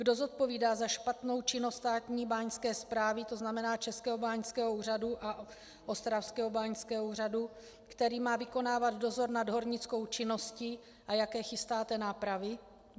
Kdo zodpovídá za špatnou činnost státní báňské správy, to znamená Českého báňského úřadu a Ostravského báňského úřadu, který má vykonávat dozor nad hornickou činností, a jaké chystáte nápravy?